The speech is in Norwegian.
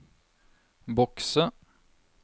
bokse